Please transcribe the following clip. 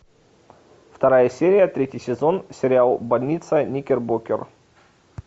вторая серия третий сезон сериал больница никербокер